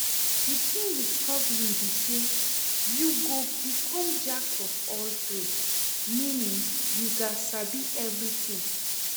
The thing with hustling be say you go become jack of all trade, meaning you gats sabi everything